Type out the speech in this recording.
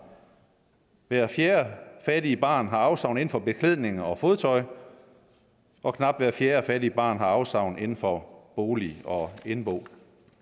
hver fjerde fattige barn har afsavn inden for beklædning og fodtøj og knap hver fjerde fattige barn har afsavn inden for bolig og indbo